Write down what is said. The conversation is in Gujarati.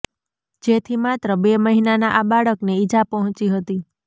જેથી માત્ર બે મહિનાના આ બાળકને ઇજા પહોંચી હતી